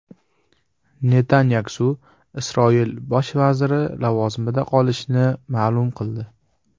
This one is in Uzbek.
Netanyaxu Isroil bosh vaziri lavozimida qolishini ma’lum qildi.